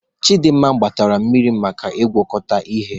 Chidinma gbatara mmiri maka ịgwakọta ihe.